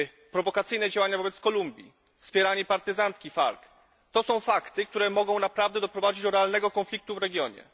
Prowokacyjne działania wobec Kolumbii, wspieranie partyzantki FARC to są fakty, które mogą naprawdę doprowadzić do realnego konfliktu w regionie.